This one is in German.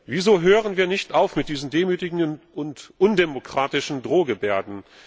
Wieso hören wir nicht auf mit diesen demütigenden und undemokratischen Drohgebärden?